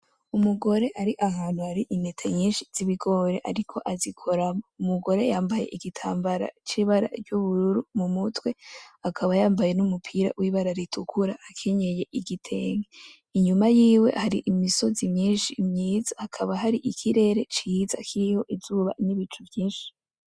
Umugore ari ahantu hari intete nyinshi z'ibigori ariko azikoramwo, umugore yambaye igitambara c'ibara ry'ubururu mu mutwe, akaba yambaye n'umupira w'ibara ritukura, akenyeye igitenge, inyuma yiwe hari imisozi myinshi myiza, hakaba hari ikirere ciza kiriho izuba, n'ibicu vyinshi.